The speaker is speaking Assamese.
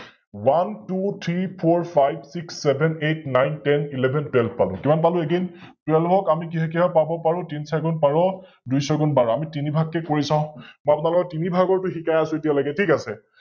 OneTwoThreeFourFiveSixSevenEightNineTenElevenTwelve পালো, কিমান পালো Again? Twelve ক আমি কিহে কিহে পাব পাৰো, তিন চাৰি গুণ বাৰ, দুই ছয় গুণ বাৰ । আমি তিনি ভাগ কৈ কৰি চাও? মই আপোনালোকক তিনি ভাগৰটো শিকাই আছো এতিয়ালৈকে, ঠিক আছে?